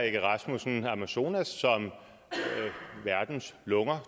egge rasmussen amazonas som verdens lunger